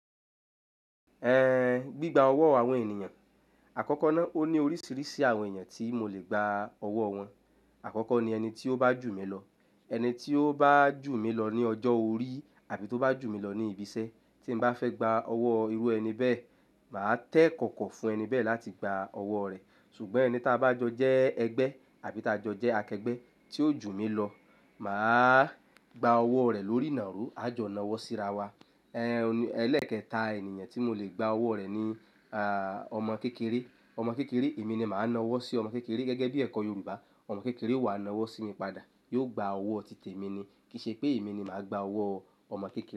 Ẹ in gbigba ọwọ́ àwọn ènìyàn, àkọ́kọ́ náà ó ní oríṣiríṣi àwọn ènìyàn tí mo lè gba ọwọ́ wọn. Àkọ́kọ́ ni ẹni tí ó bá jù mí lọ. Ẹni tí ó bá jù mí lọ ní ọjọ́ orí àbí tó bá jù mí lọ ní ibi iṣẹ́ tí n bá fẹ́ gba ọwọ́ irú ẹni bẹ́ẹ̀, màá tẹ ẹ̀kọ̀kọ̀ fún ẹni bẹ́ẹ̀ láti gba ọwọ́ rẹ̀. Ṣùgbọ́n ẹni tí a bá jọ jẹ́ ẹgbẹ́ àbí tá jọ jẹ́ akẹgbẹ́ tí ó jù mí lọ, màá gba ọwọ́ rẹ̀ lórí ìnàró, a jọ nawọ́ sírawa. Ẹ in ẹlẹ́ẹ̀kẹta ènìyàn tí mo lè gba ọwọ́ rẹ̀ ni à ọmọ kékeré. Ọmọ kékeré, èmi ni màá nawọ́ sí ọmọ kékeré gẹ́gẹ́ bí ẹ̀kọ́ Yorùbá. Ọmọ kékeré wàá nawọ́ sí mi padà, yóò gba ọwọ́ títì mi ni. Kìí ṣe pé èmi ni màá gba ọwọ́ ọmọ kékeré.